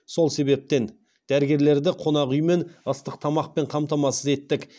сол себептен дәрігерлерді қонақ үй мен ыстық тамақпен қамтамасыз еттік